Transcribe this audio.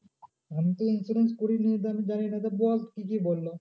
আমি তো insurance করিনি জানি না আচ্ছা বল কি কি বললো